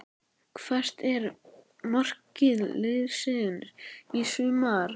Hvert er markmið liðsins í sumar?